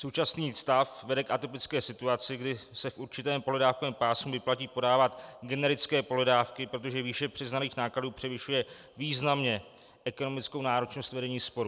Současný stav vede k atypické situaci, kdy se v určitém pohledávkovém pásmu vyplatí podávat generické pohledávky, protože výše přiznaných nákladů převyšuje významně ekonomickou náročnost vedení sporu.